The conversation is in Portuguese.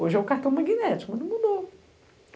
Hoje é o cartão magnético, mas não mudou.